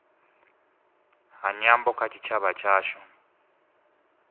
ha nyambo kha tshitshavha tshashu